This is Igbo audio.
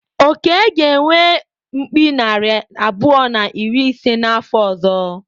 Oke ga-enwe mkpi narị abụọ na iri ise n’afọ ọzọ.